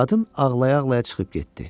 Qadın ağlaya-ağlaya çıxıb getdi.